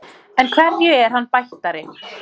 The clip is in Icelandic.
En hverju er hann bættari?